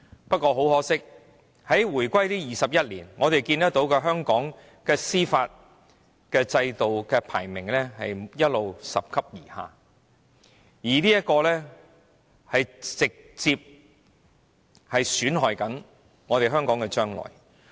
不過，很可惜，在回歸後的21年以來，和香港司法制度有關的排名一直拾級而下，這直接損害了香港的未來。